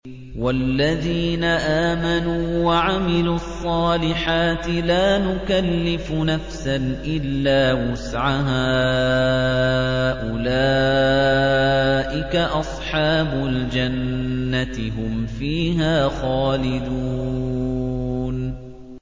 وَالَّذِينَ آمَنُوا وَعَمِلُوا الصَّالِحَاتِ لَا نُكَلِّفُ نَفْسًا إِلَّا وُسْعَهَا أُولَٰئِكَ أَصْحَابُ الْجَنَّةِ ۖ هُمْ فِيهَا خَالِدُونَ